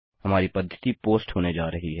हमारी पद्धति पोस्ट होने जा रही है